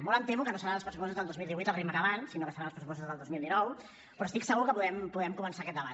molt em temo que no seran els pressupostos del dos mil divuit al ritme que van sinó que seran els pressupostos del dos mil dinou però estic segur que podrem començar aquest debat